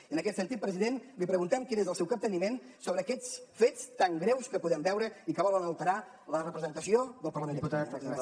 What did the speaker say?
i en aquest sentit president li preguntem quin és el seu capteniment sobre aquests fets tan greus que podem veure i que volen alterar la representació del parlament de catalunya